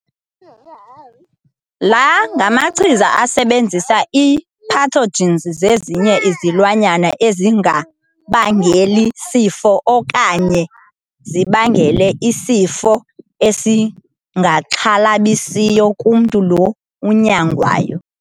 La ngamachiza asebenzisa i-pathogens zezinye izilwanyana ezingabangeli sifo okanye zibangele isifo esingaxhalabisiyo kumntu lo unyangwayo.